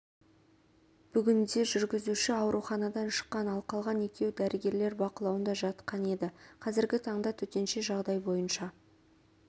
бүгінде жүргізуші ауруханадан шыққан ал қалған екеуі дәрігерлер бақылауында жатқан еді қазіргі таңда төтенше жағдай бойынша